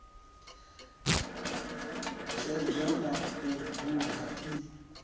tshedza na u duga i